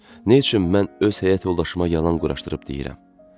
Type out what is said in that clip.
Nə üçün mən öz həyat yoldaşıma yalan quraşdırıb deyirəm?